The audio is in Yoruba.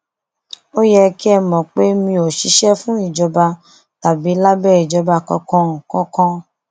ó yẹ kẹ ẹ mọ pé mi ò ṣiṣẹ fún ìjọba tàbí lábẹ ìjọba kankan kankan